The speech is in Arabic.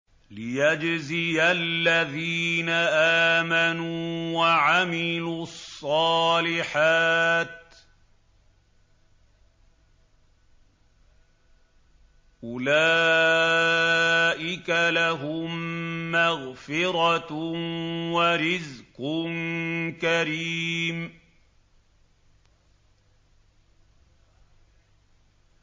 لِّيَجْزِيَ الَّذِينَ آمَنُوا وَعَمِلُوا الصَّالِحَاتِ ۚ أُولَٰئِكَ لَهُم مَّغْفِرَةٌ وَرِزْقٌ كَرِيمٌ